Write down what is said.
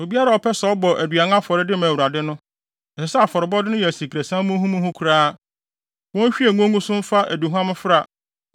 “ ‘Obiara a ɔpɛ sɛ ɔbɔ aduan afɔre de ma Awurade no, ɛsɛ sɛ afɔrebɔde no yɛ asikresiam muhumuhu koraa. Wonhwie ngo ngu so mfa aduhuam mfra